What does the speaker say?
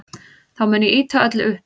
Þá mun ég ýta öllu upp.